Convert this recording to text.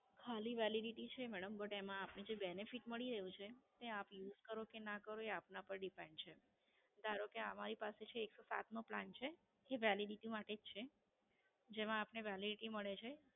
ખાલી Validity છે madam But એમાં જે benefit મળી રહ્યું છે તે આપ Use કરો કે ના કરો એ આપના પર Depend છે. ધારો કે અમારી પાસે છે એક સો સાત નો Plan છે. જે Validity માટે જ છે. જેમાં આપને Validity મળે છે.